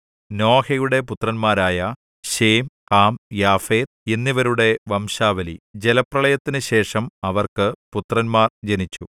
നോഹയുടെ പുത്രന്മാരായ Shem Ham Japheth എന്നിവരുടെ വംശാവലി ജലപ്രളയത്തിനുശേഷം അവർക്ക് പുത്രന്മാർ ജനിച്ചു